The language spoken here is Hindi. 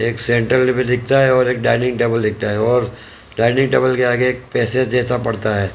एक सेंटर टेबल दिखता है और एक डाइनिंग टेबल दिखता है और डाइनिंग टेबल के आगे एक पेसे जैसा पड़ता है।